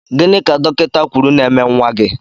Gịnị ka dọkịta kwụrụ ná -eme nwa gị?